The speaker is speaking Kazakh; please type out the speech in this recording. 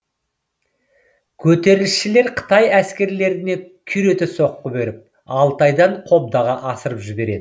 көтерілісшілер қытай әскерлеріне күйрете соққы беріп алтайдан қобдаға асырып жібереді